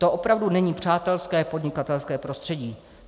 To opravdu není přátelské podnikatelské prostředí.